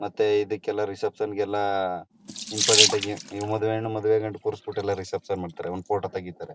ಮತ್ತೆ ಇದಕ್ಕೆಲ್ಲ ರಿಸೆಪ್ಷನ್ ಗೆಲ್ಲ ಇಂಪರೇಟಾಗಿ ಮದ್ವೆ ಹೆಣ್ಣು ಮದೆವ್ ಗಂಡು ಎಲ್ಲ ಕೂರಿಸ್ಬಿಟ್ಟು ಎಲ್ಲ ರಿಸೆಪ್ಷನ್ ಮಾಡ್ತರ ಒಂದ್ ಫೋಟೋ ತೆಗಿತಾರೆ.